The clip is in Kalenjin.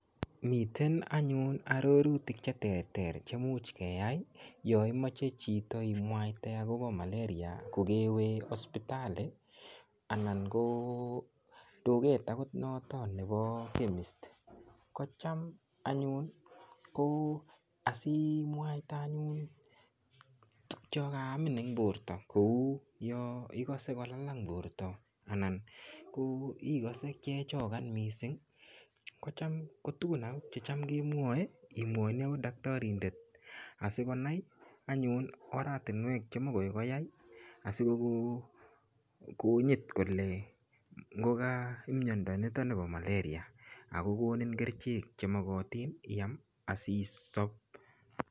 Miten anyun arorutik cheterter chemuch keyai yonimochen chito imwaite akopo malaria kokewe hospital anan ko duket noto nepo chemist ko cham anyun ko asimwaite anyun tukchekaamin eng Porto kou yo ikose kolalang Porto anan ko ikose kiechokan mising kocham tukun akot checham kimwoe imwoini akot daktarindet asikonai anyun oratinwek chemokoy koyai asikonyit kole ngoka mnyanda nito po malaria akokonin kerchek chemokotin iyam asisop